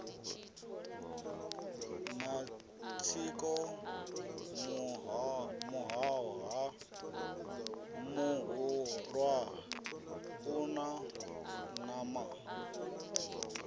matsiko muhoha muhulua una nama